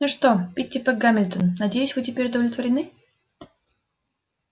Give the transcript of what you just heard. ну что питтипэт гамильтон надеюсь вы теперь удовлетворены